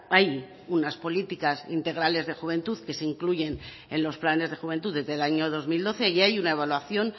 hay unas políticas integrales de juventud que se incluyen en los planes de juventud desde el año dos mil doce y hay una evaluación